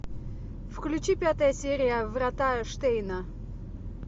включи пятая серия врата штейна